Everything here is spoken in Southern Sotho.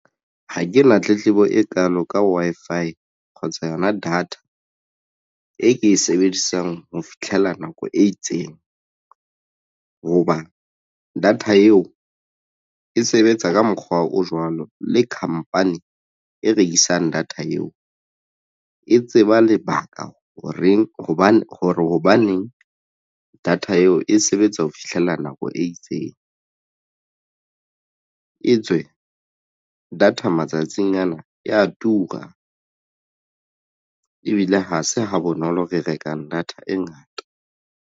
Ha ke na tletlebo e kalo ka Wi-Fi kgotsa yona data e ke e sebedisang ho fitlhela nako e itseng hoba data eo e sebetsa ka mokgwa o jwalo le khampani e rekisang data eo e tseba lebaka horeng hobane hore hobaneng data eo e sebetsa ho fihlela nako e itseng e tswe data matsatsing ana eya tura ebile ha se ha bonolo re rekang data e ngata.